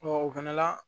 o fana la